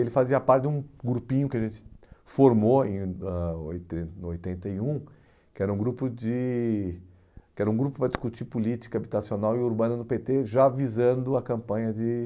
Ele fazia parte de um grupinho que a gente formou em ãh oiten oitenta e um, que era um grupo de que era um grupo para discutir política habitacional e urbana no pê tê, já visando a campanha de